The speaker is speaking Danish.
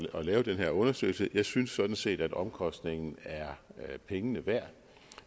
at lave den her undersøgelse jeg synes sådan set at omkostningen er pengene værd